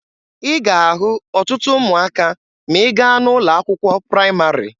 Ị ga-ahụ ọtụtụ ụmụaka ma ị gaa n'ụlọ akwụkwọ praịmarị.